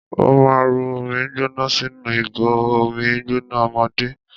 Ó ma rọ omi gbóná sínú ìgò omi gbóná ọmọdé.